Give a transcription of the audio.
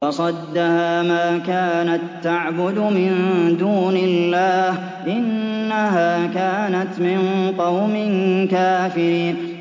وَصَدَّهَا مَا كَانَت تَّعْبُدُ مِن دُونِ اللَّهِ ۖ إِنَّهَا كَانَتْ مِن قَوْمٍ كَافِرِينَ